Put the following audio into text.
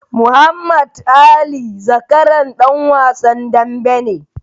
Muhammad Ali zakaran ɗan wasan dambe ne.